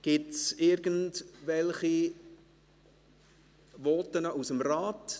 Gibt es zu diesem Geschäft Voten aus dem Rat?